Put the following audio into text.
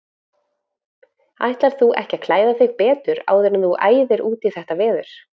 Ætlar þú ekki klæða þig betur áður en þú æðir út í þetta veður?